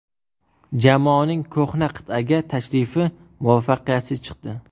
Jamoaning ko‘hna qit’aga tashrifi muvaffaqiyatsiz chiqdi.